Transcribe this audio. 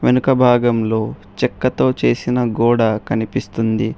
వెనక భాగం లో చెక్క తో చేసిన గోడ కనిపిస్తుంది.